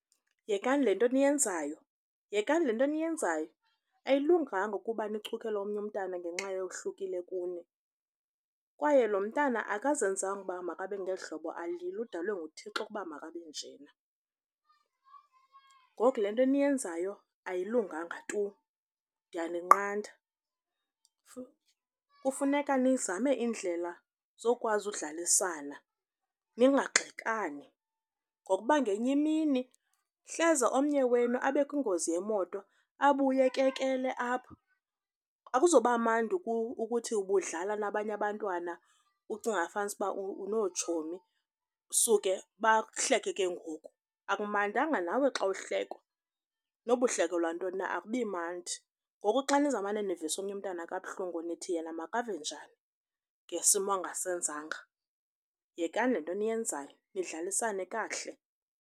Yekani le nto niyenzayo. Yekani le nto niyenzayo ayilunganga ukuba nichukele omnye umntwana ngenxa ohlukile kuni kwaye lo mntana akazenzanga uba makabe ngeli hlobo alulo. Udalwe nguThixo ukuba makabenjena. Ngoku le nto niyenzayo ayilunganga tu, ndiyaninqanda. Kufuneka nizame indlela zokwazi udlalisana ningagxekani ngokuba ngenye imini hleze omnye wenu abe kwingozi yemoto, abuye ekekele apha. Akuzuba mandi ukuthi ubudlala nabanye abantwana ucinga fanisa uba unootshomi suke bakuhleke ke ngoku. Akumandanga nawe xa uhlekwa, nokuba uhlekelwa ntoni na, akubi mandi. Ngoku xa niza kumane nivisa omnye umntwana kabuhlungu nithi yena makave njani ngesimo angasenzanga. Yekani le nto niyenzayo, nidlalisane kakuhle.